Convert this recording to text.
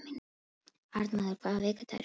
Arnmóður, hvaða vikudagur er í dag?